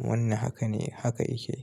Wannan haka ne, haka yake.